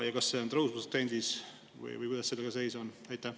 Ja kas see on tõusvas trendis või kuidas sellega seis on?